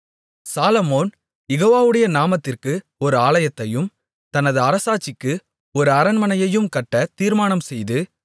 சாலொமோன் யெகோவாவுடைய நாமத்திற்கு ஒரு ஆலயத்தையும் தனது அரசாட்சிக்கு ஒரு அரண்மனையையும் கட்டத் தீர்மானம் செய்து